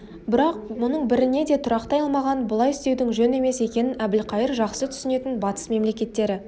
бірақ мұның біріне де тұрақтай алмаған бұлай істеудің жөн емес екенін әбілқайыр жақсы түсінетін батыс мемлекеттері